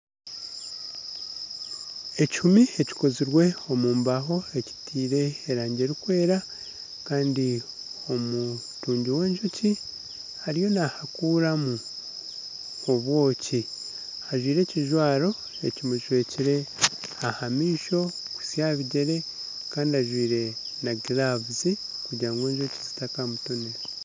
Ekihumi ekikozirwe omu mbaho ekitaire erangi erikwera kandi omutungi w'enjoki ariyo naahakuramu obwoki ajwire ekijwaro ekimushwekire aha maisho kuhitsya aha bigyere kandi ajwaire na giravu kugira ngu enjoki zitakamutonera